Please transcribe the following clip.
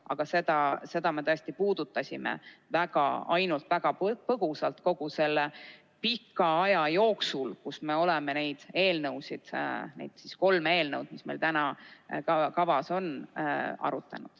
Aga seda me tõesti puudutasime ainult väga põgusalt kogu selle pika aja jooksul, kui me oleme neid kolme eelnõu, mis meil täna kavas on, arutanud.